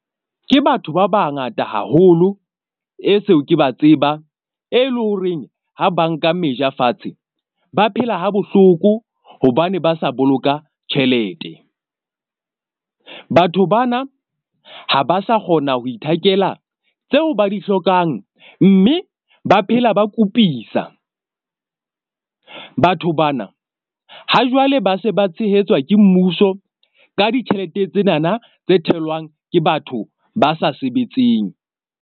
Ke batho ba bangata haholo e seo ke ba tsebang, e leng horeng ha ba nka meja fatshe, ba phela ha bohloko. Hobane ba sa boloka tjhelete. Batho bana ha ba sa kgona ho ithakela tseo ba di hlokang mme ba phela ba kupisa. Batho bana ha jwale ba se ba tshehetswa ke mmuso ka ditjhelete tsenana tse tholwang ke batho ba sa sebetseng.